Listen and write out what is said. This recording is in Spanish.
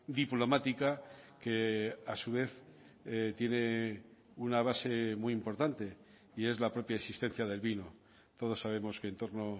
diplomática que a su vez tiene una base muy importante y es la propia existencia del vino todos sabemos que en torno